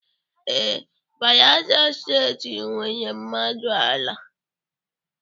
Ee, Bayelsa Steeti nwere, mmanụ ala.